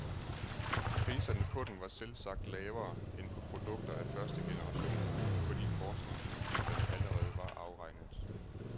Priserne på dem var selvsagt lavere end på produkter af første generation, fordi forskningsudgifterne allerede var afregnet.